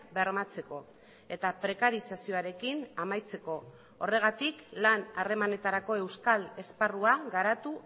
bermatzeko eta prekarizazioarekin amaitzeko horregatik lan harremanetarako euskal esparrua garatu